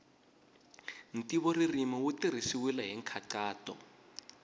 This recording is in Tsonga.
ntivoririmi wu tirhisiwile hi nkhaqato